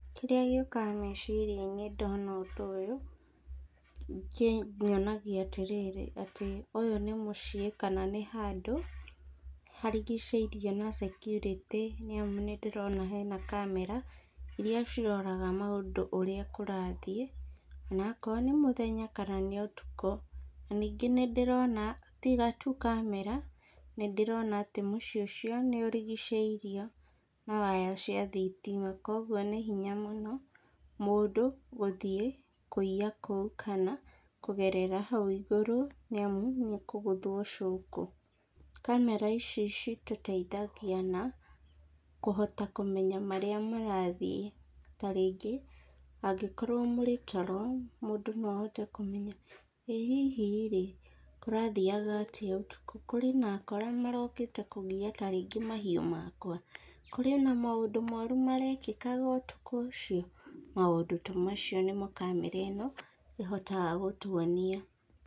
Kĩrĩa gĩiũkaga meciria-inĩ ndona ũndũ ũyũ, kĩnyonagia atĩ rĩrĩ ũyũ nĩ mũciĩ kana nĩ handũ harigicĩirio nĩ security nĩ amu nĩ ndĩrona hena kamera , iria ciroraga maũndũ ũrĩa kũrathiĩ , na akorwo nĩ mũthenya kana ũtukũ , na ningĩ nĩ ndĩrona tiga tu kamera nĩ ndĩrona mũciĩ ũcio nĩ ũrigicĩirio na waya cia thitima, na nĩ hinya mũno mũndũ gũthiĩ kũiya kũu, kana kũgerera hau igũrũ, nĩ amu nĩ akũgothwo cũkũ, kamera ici citũteithagia na kũhota kũmenya marĩa marathiĩ , ta rĩngĩ angĩkorwo mũrĩ toro, mũndũ no ahote kũrora ĩ hihi rĩ kũrathiaga atia ũtuku? kũrĩ na akora marokĩte ta rĩngĩ kũgia mahiũ makwa ? kũrĩ na maũndũ moru marekikaga ũtukũ ũcio? maũndũ ta macio nĩmo kamera ĩno ĩhotaga gũtwonia.